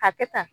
A kɛ tan